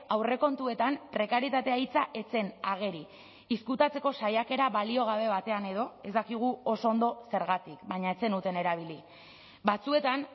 aurrekontuetan prekarietatea hitza ez zen ageri ezkutatzeko saiakera baliogabe batean edo ez dakigu oso ondo zergatik baina ez zenuten erabili batzuetan